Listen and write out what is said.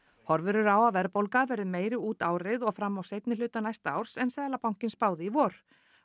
horfur eru á að verðbólga verði meiri út árið og fram á seinni hluta næsta árs en Seðlabankinn spáði í vor